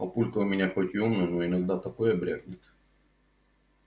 папулька у меня хоть и умный но иногда такое брякнет